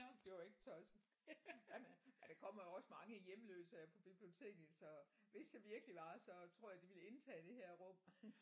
Det var ikke tosset. Ja man ja der kommer jo også mange hjemløse her på biblioteket så hvis det virkelig var så tror jeg de ville indtage det her rum